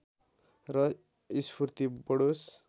र स्फूर्ति बढोस्